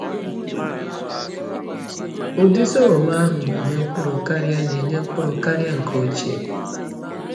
Ụdị sọgọm ahụ na-enye mkpụrụ karịa na-enye mkpụrụ karịa nke ochie.